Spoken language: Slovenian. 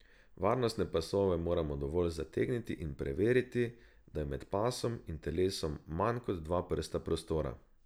Varnostne pasove moramo dovolj zategniti in preveriti, da je med pasom in telesom manj kot dva prsta prostora.